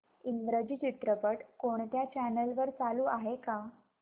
इंग्रजी चित्रपट कोणत्या चॅनल वर चालू आहे का